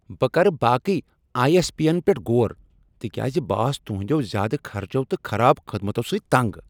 بہٕ کَرٕ باقی آیی ایس پی ین پیٹھ غور تِکیازِ بہٕ آس تُہندِیو زیادٕ خرچو تہٕ خراب خدمتو سۭتۍ تنگ۔